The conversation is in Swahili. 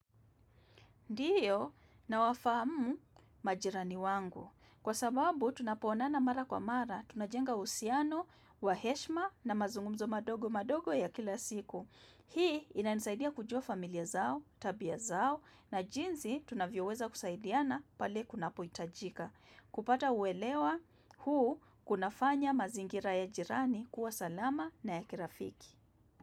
Ndiyo nawafamu majirani wangu. Kwa sababu tunapoonana mara kwa mara, tunajenga uhusiano, wa heshima na mazungumzo madogo madogo ya kila siku. Hii inanisaidia kujua familia zao, tabia zao na jinsi tunavyoweza kusaidiana pale kunapohitajika. Kupata uelewa huu kunafanya mazingira ya jirani kuwa salama na ya kirafiki.